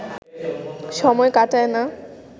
সময় কাটায় না